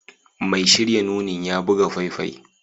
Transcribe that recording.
Mai shirya nunin ya buga faifai